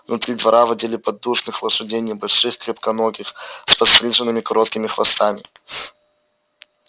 внутри двора водили поддужных лошадей небольших крепконогих с подстриженными короткими хвостами